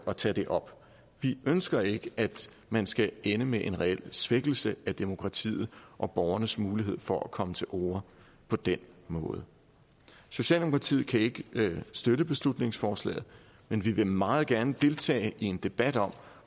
at tage det op vi ønsker ikke at man skal ende med en reel svækkelse af demokratiet og borgernes mulighed for at komme til orde på den måde socialdemokratiet kan ikke støtte beslutningsforslaget men vi vil meget gerne deltage i en debat om